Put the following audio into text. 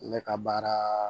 Ne ka baara